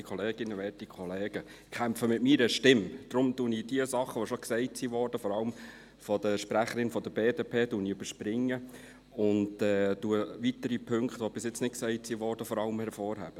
Deshalb überspringe ich jene Dinge, die bereits, vor allem von der BDP, erwähnt worden sind, und hebe vor allem weitere Punkte, die bisher nicht erwähnt worden sind, hervor.